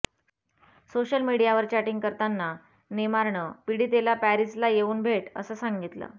social मीडियावर chatting करताना नेमारनं पीडितेला पॅरिसला येऊन भेट असं सांगितलं